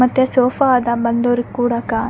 ಮತ್ತೆ ಸೋಫಾ ಅದ ಬಂದವ್ರಿಗೆ ಕುಡಕಾ.